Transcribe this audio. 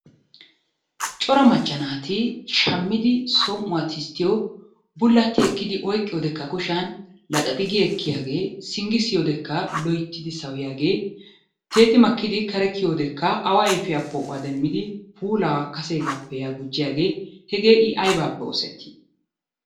Cora macca naati shammidi som"uwa tisttiyo bullatti ekkidi oyqqiyodeekka kushiyan laxaxi gi ekkiyaagee singgi siyiyo wodekka loyittidi sawuyiyaagee tiyetti makkidi kare kiyiyo wodekka awaa ayfiya demmidi puulaa kaseegaappe yaa gujjiyaagee hegee I aybaappe oosettii?